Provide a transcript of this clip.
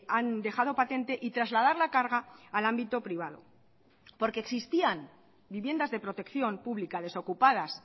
han dejado patente y trasladar la carga al ámbito privado porque existían viviendas de protección pública desocupadas